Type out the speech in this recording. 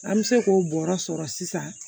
An bɛ se k'o bɔrɔ sɔrɔ sisan